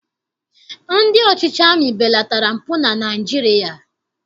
Ndị ọchịchị amị belatara mpụ na Naịjirịa